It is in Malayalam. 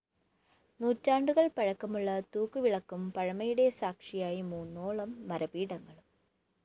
നൂറ്റാണ്ടുകള്‍ പഴക്കമുള്ള തൂക്ക് വിളക്കും പഴമയുടെ സാക്ഷിയായി മൂന്നോളം മരപീഠങ്ങളും